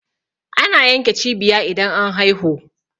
ana yanke cibiya idan an haihu